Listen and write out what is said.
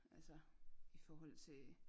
Altså i forhold til